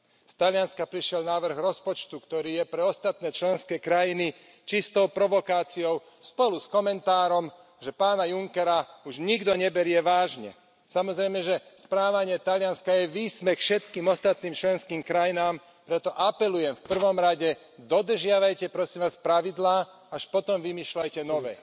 Z Talianska prišiel návrh rozpočtu, ktorý je pre ostatné členské krajiny čistou provokáciou, spolu s komentárom, že pána Junckera už nikto neberie vážne. Samozrejme, že správanie Talianska je výsmech všetkým ostatným členským krajinám, preto apelujem, v prvom rade, dodržiavajte, prosím vás, pravidlá, až potom vymýšľajte nové.